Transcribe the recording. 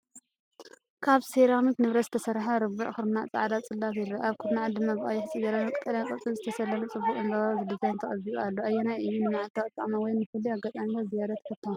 ካብ ሴራሚክ ንብረት ዝተሰርሐ ርብዒ ኩርናዕ ጻዕዳ ጽላት የርኢ። ኣብ ኩርናዓት ድማ ብቐይሕ ጽጌረዳን ቀጠልያ ቆጽልን ዝተሰለመ ጽቡቕ ዕምባባዊ ዲዛይን ተቐቢኡ ኣሎ። ኣየናይ እዩ ንመዓልታዊ ኣጠቓቕማ ወይ ንፍሉይ ኣጋጣሚታት ዝያዳ ተፈታዊ?